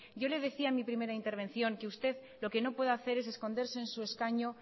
yo le decía en mi primera intervención que usted lo que no puede hacer es esconderse en su escaño